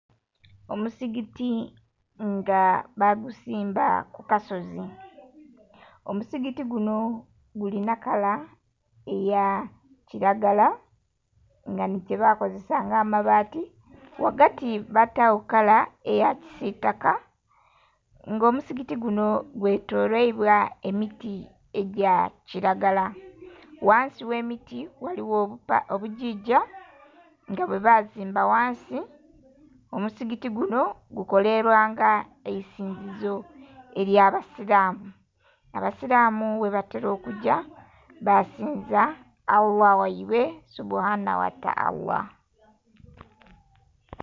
Omuzigiti nga baguzimba ku kasozi. Omuzigiti guno gulina kala eya kilagala nga ni kye bakozesa nga amabaati. Wagati batawo kala eya kisitaka nga omuzigiti guno gwe toloirwa emiti egya kiragala. Ghansi we miti ghaliyo obugyigya nga bwe basimba ghansi. Omuzigiti guno gukolera nga eisinzizo ely'abasiramu. Abasiramu webatera okugya basinza Allah waibwe Subuhana wata Allah